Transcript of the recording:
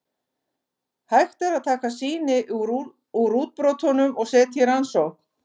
Hægt er að taka sýni úr útbrotunum og setja í rannsókn.